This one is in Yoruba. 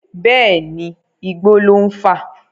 Bẹ́ẹ̀ni, igbó ló ń fà.